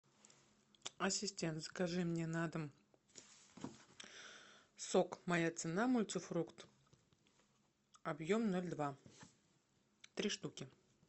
ассистент закажи мне на дом сок моя цена мультифрукт объем ноль два три штуки